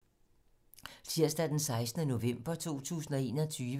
Tirsdag d. 16. november 2021